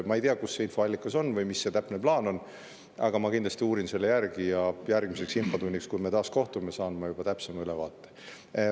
Ma ei tea, mis infoallikas on või mis see täpne plaan on, aga ma kindlasti uurin selle järgi ja järgmiseks infotunniks, kui me taas kohtume, saan ma juba täpsema ülevaate.